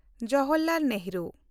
Jawaharlal Nehru